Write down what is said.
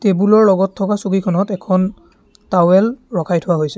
Table ৰ লগত থকা চকীখনত এখন টাৱেল ৰখাই থোৱা হৈছে।